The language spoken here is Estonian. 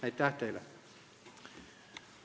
Aitäh teile!